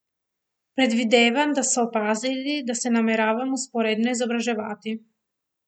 Predvidevam, da so opazili, da se nameravam vzporedno izobraževati.